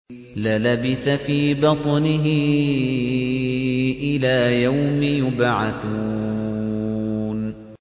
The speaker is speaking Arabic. لَلَبِثَ فِي بَطْنِهِ إِلَىٰ يَوْمِ يُبْعَثُونَ